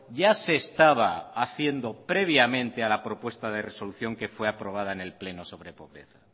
ya se estaba haciendo previamente a la propuesta de resolución que fue aprobada en el pleno sobre pobreza